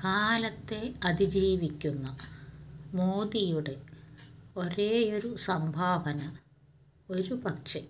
കാലത്തെ അതിജീവിക്കുന്ന മോദിയുടെ ഒരേയൊരു സംഭാവന ഒരു പക്ഷെ